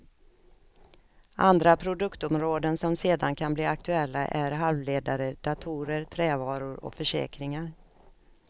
Andra produktområden som sedan kan bli aktuella är halvledare, datorer, trävaror och försäkringar.